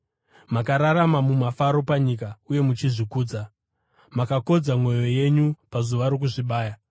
Makararama mumafaro panyika uye muchizvikudza. Makakodza mwoyo yenyu pazuva rokuzvibaya.